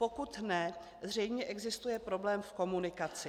Pokud ne, zřejmě existuje problém v komunikaci.